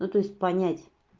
ну то есть понять